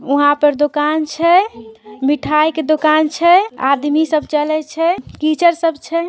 उहाँ पर दुकान छै मिठाई के दुकान छै आदमी सब चले छै कीचड़ सबसे छै।